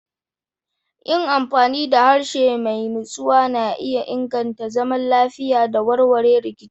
Yin amfani da harshe mai natsuwa na iya inganta zaman lafiya da warware rikici.